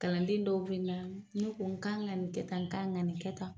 Kalanden dɔw bɛ na, n'u ko n ka ŋa nin kɛ tan n kan ŋa nin kɛ tan